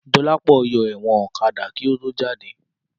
Dọlápọ̀ yọ ẹ̀wọ̀n ọ̀kadà rẹ̀ kí ó tó jáde